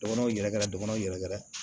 Dɔgɔnɔnw yɛrɛ kɛra dɔgɔnɔw yɛrɛ gɛrɛ